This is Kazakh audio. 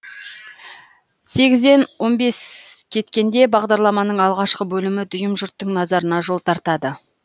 сегізден он бес кеткенде бағдарламаның алғашқы бөлімі дүйім жұрттың назарына жол тартады